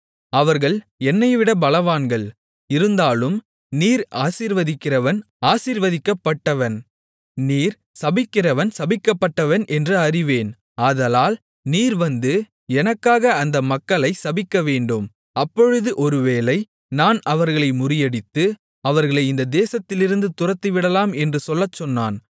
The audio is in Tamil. அவர்கள் என்னைவிட பலவான்கள் இருந்தாலும் நீர் ஆசீர்வதிக்கிறவன் ஆசீர்வதிக்கப்பட்டவன் நீர் சபிக்கிறவன் சபிக்கப்பட்டவன் என்று அறிவேன் ஆதலால் நீர் வந்து எனக்காக அந்த மக்களை சபிக்கவேண்டும் அப்பொழுது ஒருவேளை நான் அவர்களை முறியடித்து அவர்களை இந்த தேசத்திலிருந்து துரத்திவிடலாம் என்று சொல்லச்சொன்னான்